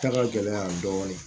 Da ka gɛlɛn dɔɔni